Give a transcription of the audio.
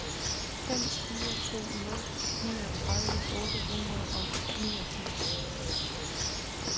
fem fire to nul niogtredive otte hundrede og niogfirs